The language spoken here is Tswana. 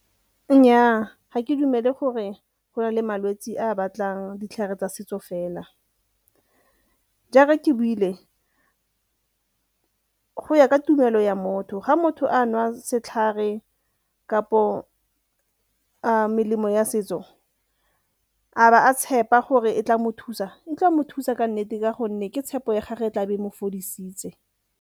Nnyaa, ga ke dumele gore go na le malwetsi a a batlang ditlhare tsa setso fela. Jaaka ke buile, go ya ka tumelo ya motho, ga motho a jwa setlhare kapo melemo ya setso a be a tshepa gore e tla mo thusa, e tla mo thusa ka nnete ka gonne ke tshepo ya gage e tla be e mo fodisitse.